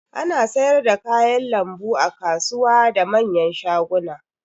Ana sayar da kayan lambu a kasuwa da manyan shaguna.